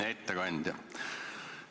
Hea ettekandja!